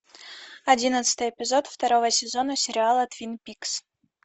одиннадцатый эпизод второго сезона сериала твин пикс